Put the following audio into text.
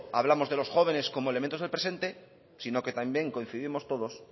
hablamos de los jóvenes como elementos del presente sino que también coincidimos todos